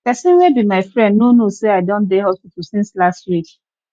pesin wey be my friend no know sey i don dey hospital since last week